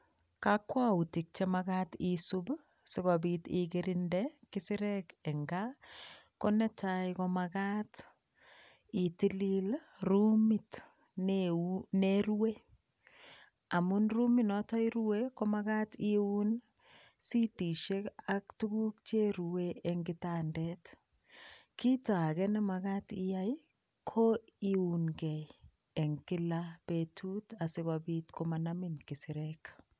Kakwautik che magat isub sigopit ikerinde kisirek eng kaa. Konetai ko magat itilil rumit neu, nerue amun rumit noto irue ko magat iun sitisiek ak tuguk cherue en kitandet. Kito age ne magat iyai ko iunke en kila betut asigopit komanamin kisirek.